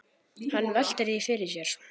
Hann veltir því fyrir sér.